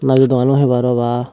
nadi dogano hoi paro ba.